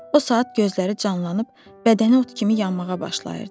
O saat gözləri canlanıb bədəni ot kimi yanmağa başlayırdı.